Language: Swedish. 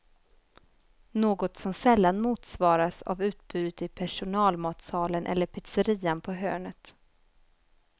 Något som sällan motsvaras av utbudet i personalmatsalen eller pizzerian på hörnet.